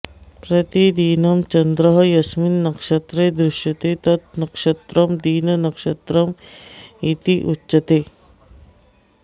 प्रतिदिनं चन्द्रः यस्मिन् नक्षत्रे दृश्यते तत् नक्षत्रं दिननक्षत्रम् इति उच्यते